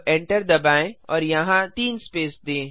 अब एंटर दबाएँ और यहाँ तीन स्पेस दें